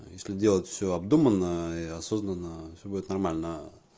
если делать все обдуманно и осознанно все будет нормально